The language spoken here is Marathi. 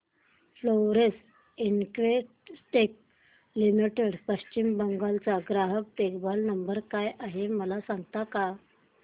Florence Investec limited Paschim Bangal चा ग्राहक देखभाल नंबर काय आहे मला सांगता का